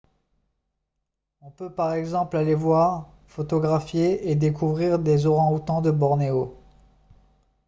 on peut par exemple aller voir photographier et découvrir les orang-outans de bornéo